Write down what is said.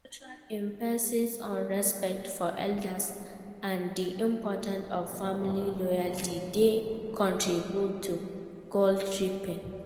Our cultural emphasis on respect for elders and di importance of family loyalty dey contribute to dis guilt-tripping.